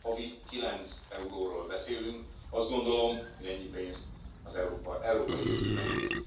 Havi 9 euróról beszélünk, azt gondolom, hogy ennyi pénzt az európai jövő megér.